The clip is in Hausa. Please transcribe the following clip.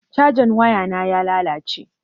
Cajan wayana ya lalace.